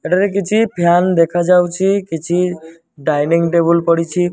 ଏଠାରେ କିଛି ଫ୍ୟାନ ଦେଖାଯାଉଛି କିଛି ଡାଇନିଂ ଟେବୁଲ ପଡିଛି।